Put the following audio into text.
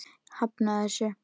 Ég hafnaði þessu.